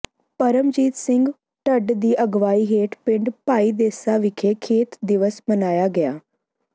ਪਰਮਜੀਤ ਸਿੰਘ ਢੱਟ ਦੀ ਅਗਵਾਈ ਹੇਠ ਪਿੰਡ ਭਾਈਦੇਸਾ ਵਿਖੇ ਖੇਤ ਦਿਵਸ ਮਨਾਇਆ ਗਿਆ